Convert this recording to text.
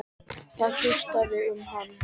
Það gustaði um hann.